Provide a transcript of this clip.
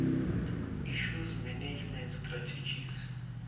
issues management strategies